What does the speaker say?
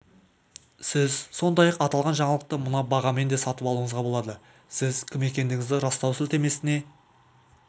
сіз сондай-ақ аталған жаңалықты мына бағамен де сатып алуыңызға болады сіз кім екендігіңізді растау сілтемесіне